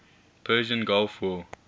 persian gulf war